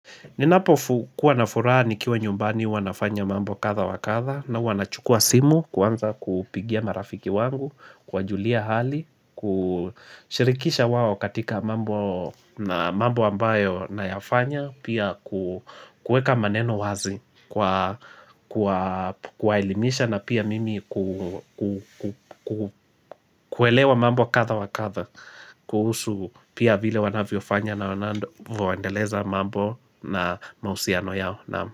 Ninapo kuwa nafuraha nikiwa nyumbani huwa nafanya mambo kadha wakadha na huwa nachukua simu kuanza kupigia marafiki wangu, kuwajulia hali, kushirikisha wao katika mambo ambayo nayafanya, pia kueka maneno wazi, kwa kuelimisha na pia mimi kuelewa mambo kadha wa kadha, kuhusu pia vile wanavyo fanya na wanavyoendeleza mambo na mahusiano yao.